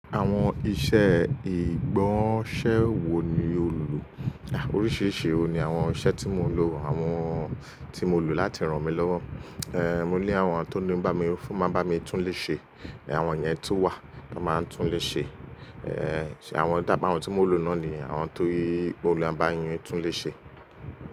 Àwọn iṣẹ́ ìgbọ̀nsẹ́ wo ni o lò? Oríṣìíríṣìí wo ni àwọn iṣẹ́ tí mo lò àwọn tí mo lò láti ràn mí lọ́wọ́? Ehn, mo ní àwọn tó ní bá mi fún, máa bá mi túnlé ṣe, àwọn yẹn tun wà, wọn máa ń túnlé ṣe. Ehn, ṣe àwọn dábi àwọn tí mo lò náà ni àwọn ti o le bá yín túnlé ṣe.